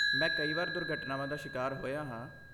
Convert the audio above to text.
ਮੈਂ ਕਈ ਵਾਰ ਦੁਰਘਟਨਾਵਾਂ ਦਾ ਸ਼ਿਕਾਰ ਹੋਇਆ ਹਾਂ।